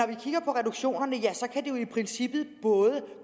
vi kigger på reduktionerne ja så kan det jo i princippet både